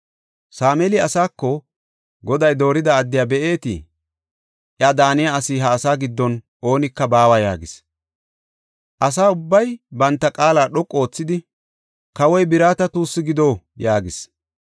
Sameeli asaako, “Goday doorida addiya be7itee? Iya daaniya asi ha asa giddon oonika baawa” yaagis. Asa ubbay banta qaala dhoqu oothidi, “Kawoy birata tuussi gido” yaagis.